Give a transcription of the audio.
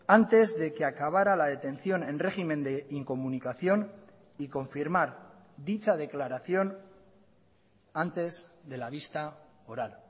antes de que acabará la detención en régimen de incomunicación y confirmar dicha declaración antes de la vista oral